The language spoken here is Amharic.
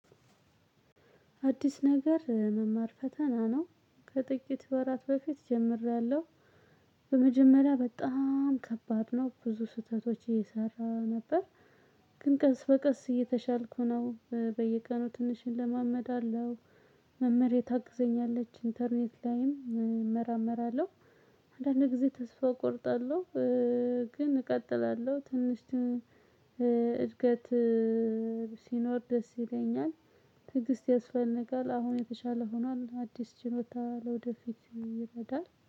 አዲስ ነገር መማር ፈተና ነው ከጥቂት ወራት በፊት ጀምሬያለሁ። በመጀመሪያ በጣም ከባድ ነው ብዙ ስህተቶች እየሰራ ነበር። ግን ቀስ በቀስ እየተሻልኩ ነው። በየቀኑ ትንሽ እለማመዳለሁ። መምህሬ ታግዘኛለች ኢንተርኔት ላይም እመረምራለሁ። አንዳንዴ ተስፋ እቆርጣለሁ። ግን እቀጥላለሁ ትንሽ እድገት ሲኖር ደስ ይለኛል። ትግስት ያስፈልጋል አሁን የተሻለ ሆኗል። አዲስ ጭኖታ ለወደፊት ይረዳል